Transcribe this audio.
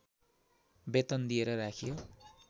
वेतन दिएर राखियो